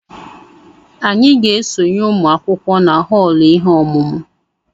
Anyị ga-esonye ụmụ akwụkwọ na họọlụ ihe ọmụmụ